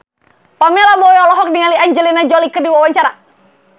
Pamela Bowie olohok ningali Angelina Jolie keur diwawancara